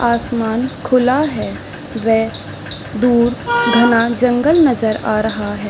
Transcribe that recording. आसमान खुला है वे दूर घाने जंगल नज़र आ रहा है।